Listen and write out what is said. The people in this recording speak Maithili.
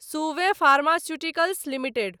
Suven pharmaceuticals limited